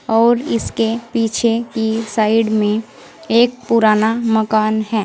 और इसके पीछे की साइड में एक पुराना मकान है।